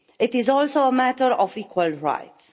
It is also a matter of equal rights.